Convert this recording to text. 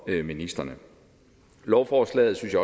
af ministrene lovforslaget